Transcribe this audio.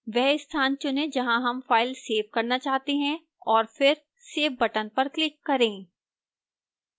वह स्थान चुनें जहां हम file सेव करना चाहते हैं और फिर save button पर click करें